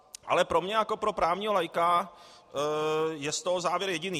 Ale pro mě jako pro právního laika je z toho závěr jediný.